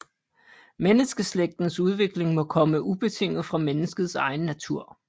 Menneskeslægtens udvikling må komme ubetinget fra menneskets egen natur